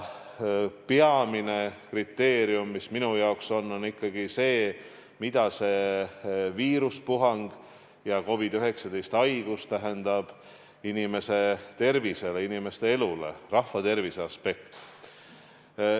Peamine kriteerium on minu hinnangul ikkagi see, mida see viiruspuhang ja COVID-19 haigus tähendab inimese tervisele ja elule – rahvatervise aspekt.